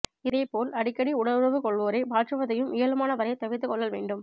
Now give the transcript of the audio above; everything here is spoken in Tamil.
இதே போல் அடிக்கடி உடலுறவு கொள்வோரை மாற்றுவதையும் இயலுமான வரை தவிர்த்துக் கொள்ளல் வேண்டும்